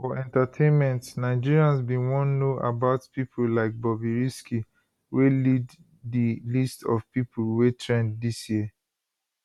for entertainment nigerians bin wan know about pipo like bobrisky wey lead di list of pipo wey trend dis year